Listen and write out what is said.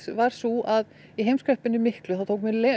var sú að í heimskreppunni miklu tók mjög